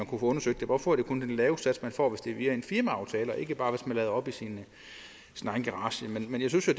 kunne få undersøgt hvorfor det kun er den lave sats man får hvis det er via en firmaaftale og ikke bare hvis man lader op i sin egen garage men jeg synes jo